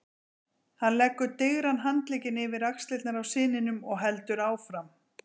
Hann leggur digran handlegginn yfir axlirnar á syninum og heldur áfram